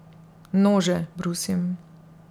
Nože brusim.